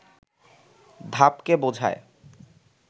ধাপকে বোঝায়